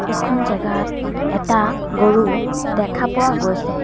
এইখন জেগাত এটা গৰু দেখা পোৱা গৈছে।